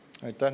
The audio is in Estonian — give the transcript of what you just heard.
Aitäh!